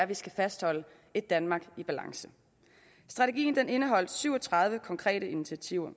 vi skal fastholde et danmark i balance strategien indeholdt syv og tredive konkrete initiativer